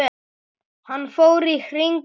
Hann fór í hring yfir